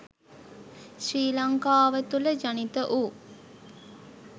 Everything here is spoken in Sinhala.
ශ්‍රී ලංකාව තුළ ජනිත වූ